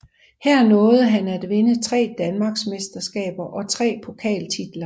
Her nåede han at vinde 3 danmarksmesterskaber og 3 pokaltitler